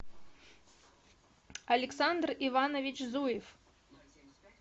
александр иванович зуев